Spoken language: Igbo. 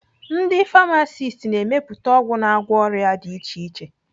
Ndi famasist na-emepụta ọgwụ na-agwọ ọrịa dị iche iche.